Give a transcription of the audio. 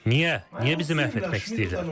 Niyə bizi məhv etmək istəyirdilər?